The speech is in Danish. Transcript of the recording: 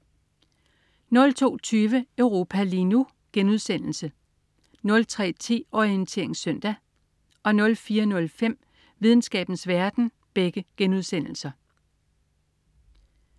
02.20 Europa lige nu* 03.10 Orientering Søndag* 04.05 Videnskabens verden*